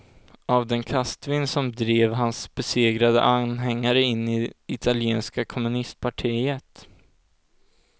Av den kastvind som drev hans besegrade anhängare in i italienska kommunistpartiet.